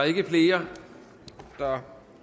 ikke flere der